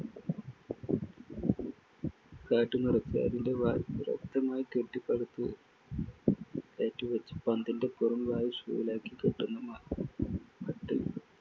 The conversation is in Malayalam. കാറ്റു നിറച്ച് അതിന്റെ വായ് ഭദ്രമായി കെട്ടി പന്തിനകത്തു കയറ്റിവച്ച് പന്തിന്‍റെ പുറംവായ് shoe lace കൾ കെട്ടുന്ന മ~മട്ടിൽ